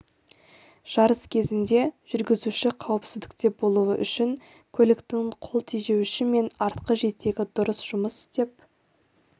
жарыс кезінде жүргізуші қауіпсіздікте болуы үшін көліктің қол тежеуіші мен артқы жетегі дұрыс жұмыс істеп